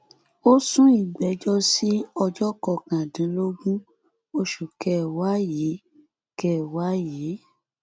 ó sún ìgbẹjọ sí ọjọ kọkàndínlógún oṣù kẹwàá yìí kẹwàá yìí